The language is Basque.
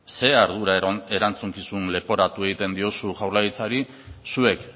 ze ardura erantzukizun leporatu egiten diozu jaurlaritzari zuek